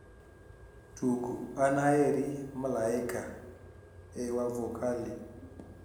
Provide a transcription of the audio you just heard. tug aneheri malaika e wavokali